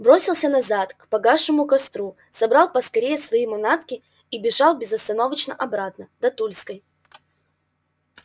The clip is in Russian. бросился назад к погасшему костру собрал поскорее свои манатки и бежал безостановочно обратно до тульской